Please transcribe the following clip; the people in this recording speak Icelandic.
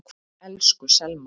Elsku Selma.